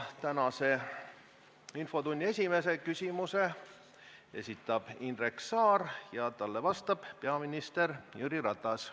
Tänase infotunni esimese küsimuse esitab Indrek Saar ja talle vastab peaminister Jüri Ratas.